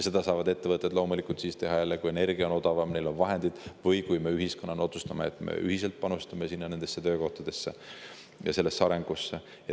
Neid saavad ettevõtted loomulikult teha jälle siis, kui energia on odavam, neil on vahendeid, või kui me ühiskonnana otsustame, et me ühiselt panustame nendesse töökohtadesse ja sellesse arengusse.